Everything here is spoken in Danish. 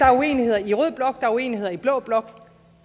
er uenigheder i rød blok og der er uenigheder i blå blok